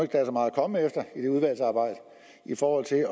der er så meget komme efter i det udvalgsarbejde i forhold til